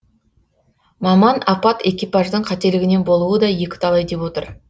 маман апат экипаждың қателігінен болуы да екіталай деп отыр